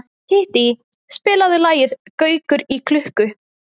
Kittý, spilaðu lagið „Gaukur í klukku“.